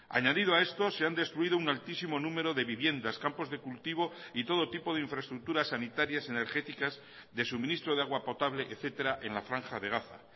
añadido a esto se han destruido un altísimo número de viviendas campos de cultivo y todo tipo de infraestructuras sanitarias energéticas de suministro de agua potable etcétera en la franja de gaza